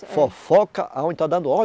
Fofoca aonde está dando